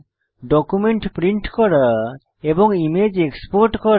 document print করা এবং image export করা